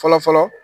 Fɔlɔ fɔlɔ